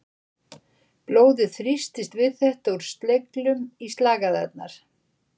Blóðið þrýstist við þetta úr sleglum í slagæðarnar.